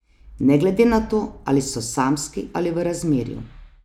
Ne glede na to, ali so samski ali v razmerju.